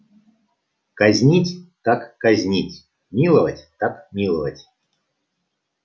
казнить так казнить миловать так миловать